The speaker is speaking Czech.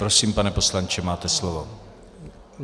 Prosím, pane poslanče, máte slovo.